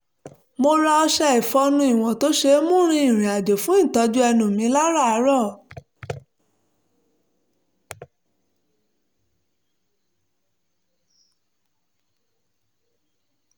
mo ra ọṣẹ ìfọnu ìwọ̀n tó ṣe é mú rin ìrìn-àjò fún ìtọ́jú ẹnu mi láràárọ̀